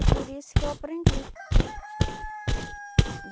E por isso que eu aprendi.